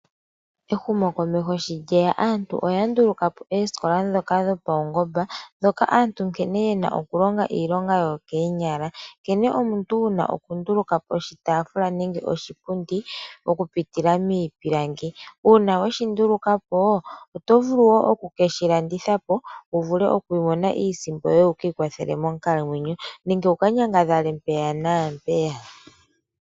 Ehumokomeho sho lye ya aantu oya nduluka po oosikola ndhoka dhopaungomba, ndhoka aantu nkene ye na okulonga iilonga yokoonyala. Nkene omuntu wu na okunduluka po oshitaafula nenge oshipundi okupitila miipilangi. Uuna we shi nduluka po, oto vulu wo oku ke shi landitha po wu vule oku imonena iisimpo yoye wu ka ikwathele monkalamwenyo nenge wu ka nyangadhale mpeya naampeyaka.